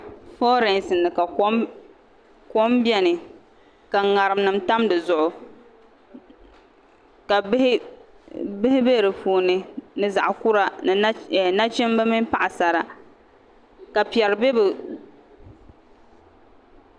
Foorɛsi ni ka kom biɛni ka ŋarim nim tam dizuɣu ka bihi bɛ di puuni ni zaɣ kura ni nachimbi mini paɣasara ka piɛri bɛ bi